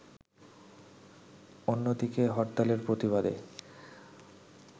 অন্যদিকে হরতালের প্রতিবাদে